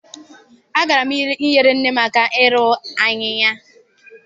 Agara m nyere nne m aka ịrụ ahịhịa.